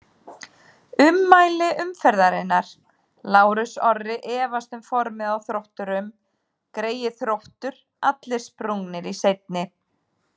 Ummæli umferðarinnar: Lárus Orri efast um formið á Þrótturum Greyið Þróttur, allir sprungnir í seinni.